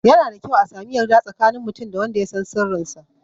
Yana da kyau a sami yarda tsakanin mutum da wanda ya san sirrin sa